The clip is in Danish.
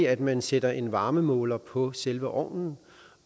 at man sætter en varmemåler på selve ovnen